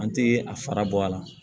An tɛ a fara bɔ a la